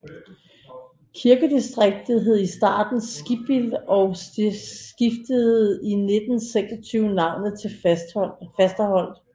Kirkedistriktet hed i starten Skibbild og skiftede i 1926 navn til Fasterholt